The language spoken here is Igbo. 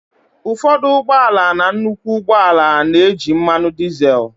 ụfọdụ ụgbọ ala na nnukwu ụgbọ ala na-eji mmanụ dizel